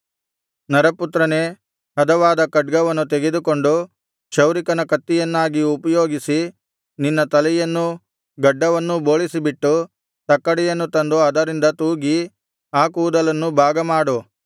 ನರಪುತ್ರನೇ ಹದವಾದ ಖಡ್ಗವನ್ನು ತೆಗೆದುಕೊಂಡು ಕ್ಷೌರಿಕನ ಕತ್ತಿಯನ್ನಾಗಿ ಉಪಯೋಗಿಸಿ ನಿನ್ನ ತಲೆಯನ್ನೂ ಗಡ್ಡವನ್ನೂ ಬೋಳಿಸಿಬಿಟ್ಟು ತಕ್ಕಡಿಯನ್ನು ತಂದು ಅದರಿಂದ ತೂಗಿ ಆ ಕೂದಲನ್ನು ಭಾಗ ಮಾಡು